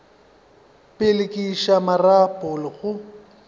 pele ke iša marapo go